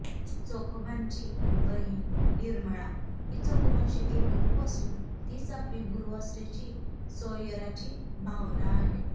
चोखोबांची बहीण निर्मळा ही चोखोबांशी एकरूप असून तीच आपली गुरु असल्याची सोयराची भावना आहे